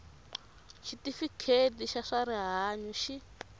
xitifiketi xa swa rihanyu xi